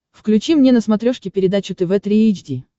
включи мне на смотрешке передачу тв три эйч ди